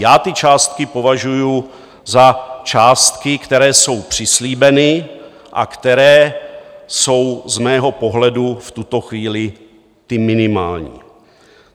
Já ty částky považuji za částky, které jsou přislíbeny a které jsou z mého pohledu v tuto chvíli ty minimální.